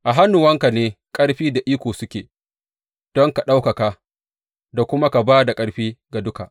A hannuwanka ne ƙarfi da iko suke don ka ɗaukaka da kuma ba da ƙarfi ga duka.